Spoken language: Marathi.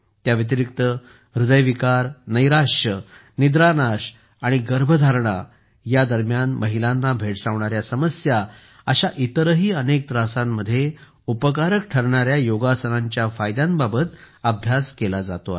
त्याव्यतिरिक्त हृदयविकार नैराश्य निद्रानाश आणि गर्भधारणेदरम्यान महिलांना भेडसावणाऱ्या समस्या अशा इतरही अनेक त्रासांमध्ये उपकारक ठरणाऱ्या योगासनांच्या फायद्यांबाबत अभ्यास केला जातो आहे